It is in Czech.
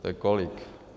To je kolik?